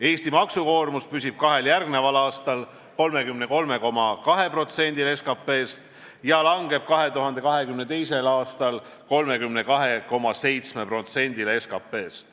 Eesti maksukoormus püsib kahel järgneval aastal 33,2%-l SKP-st ja langeb 2022. aastal 32,7%-le SKP-st.